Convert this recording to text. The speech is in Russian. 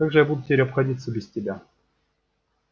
как же я теперь буду обходиться без тебя